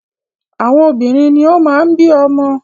Àwọn obìnrin ni o máa ń bí ọmọ.